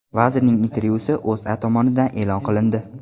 Vazirning intervyusi O‘zA tomonidan e’lon qilindi .